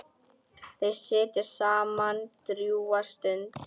Þau sitja saman drjúga stund.